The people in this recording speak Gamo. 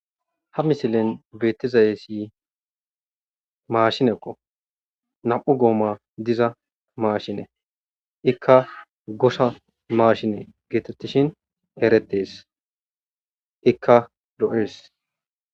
Ha misilen betizaysi mashineko na'u gomayi diza mashineko ika gosha mashine getetishin eretese ika lo'ese